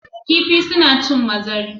Kifi su na cin mazari